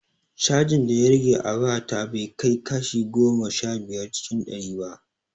Cajin da ya rage a waya ta bai fi kashi goma sha biyar cikin ɗari ba